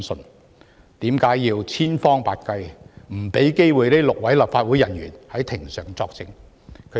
為何要千方百計阻止這6位立法會人員在庭上作證？